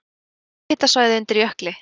Háhitasvæði undir jökli